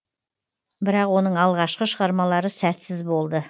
бірақ оның алғашқы шығармалары сәтсіз болды